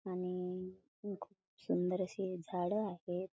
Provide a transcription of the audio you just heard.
आणि खूप सुंदर अशी झाडं आहेत.